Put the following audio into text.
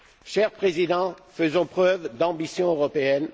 Cher Président, faisons preuve d'ambition européenne.